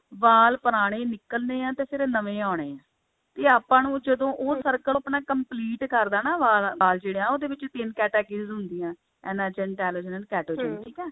ਵਾਲ ਪੁਰਾਣੇ ਨਿਕਲਨੇ ਆ ਤੇ ਫੇਰ ਨਵੇਂ ਆਉਣੇ ਆ ਤੇ ਆਪਾਂ ਨੂੰ ਜਦੋਂ ਉਹ circle ਆਪਣਾ complete ਕਰਦਾ ਨਾ ਵਾਲ ਜਿਹੜਾ ਉਹਦੇ ਵਿੱਚ ਤਿੰਨ categories ਹੁੰਦੀਆਂ enazen telazen cetazen ਠੀਕ ਹੈ